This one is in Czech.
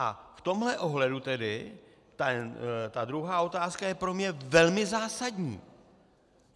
A v tomhle ohledu tedy ta druhá otázka je pro mě velmi zásadní.